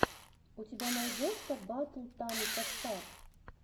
у тебя найдется батл тамика стар